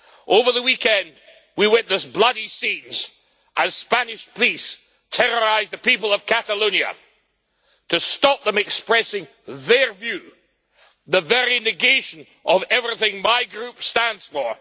Over the weekend we witnessed bloody scenes as Spanish police terrorised the people of Catalonia to stop them expressing their views the very negation of everything my Group stands for.